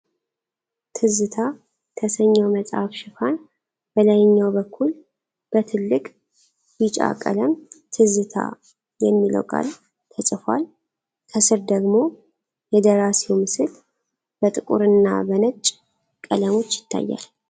ትዝታ ተሰኘው መጽሐፍ ሽፋን በላይኛው በኩል በትልቅ ቢጫ ቀለም "ትዝታ" የሚለው ቃል ተጽፏል። ከስር ደግሞ የደራሲው ምስል በጥቁርና በነጭ ቀለሞች ይታያል።